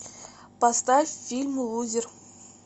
поставь фильм лузер